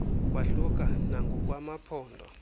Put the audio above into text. kwahluka nangokwa maphondo